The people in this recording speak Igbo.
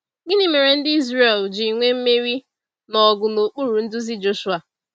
Gịnị mere ndị Ịzrel jiri nwee mmeri na ọgụ n’okpuru nduzi Joshuwa?